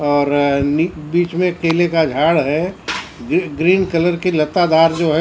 और निक बीच में केले का झाड़ है ग्री ग्रीन कलर की लता दार जो है।